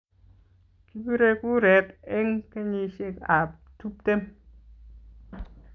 Kibirei kuret eng kenyishiekab tuptem